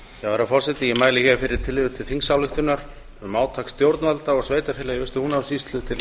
herra forseti ég mæli hér fyrir tillögu til þingsályktunar um átak stjórnvalda og sveitarfélaga í austur húnavatnssýslu til